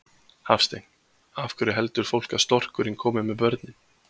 Hafstein: Af hverju heldur fólk að storkurinn komi með börnin?